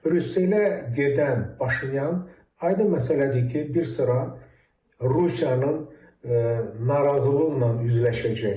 Brüsselə gedən Paşinyan aydın məsələdir ki, bir sıra Rusiyanın narazılıqla üzləşəcək.